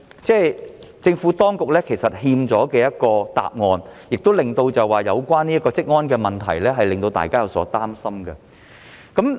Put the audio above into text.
政府當局就此尚欠一個交代，有關的職安問題亦令到大家有所擔心。